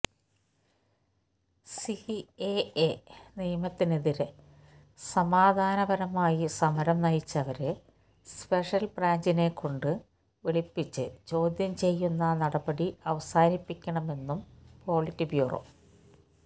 CAA നിയമത്തിനെതിരെ സമാധാനപരമായി സമരം നയിച്ചവരെ സ്പെഷ്യൽ ബ്രാഞ്ചിനെക്കൊണ്ട് വിളിപ്പിച്ച് ചോദ്യം ചെയ്യുന്ന നടപടി അവസാനിപ്പിക്കണമെന്നും പൊളിറ്റ് ബ്യൂറോ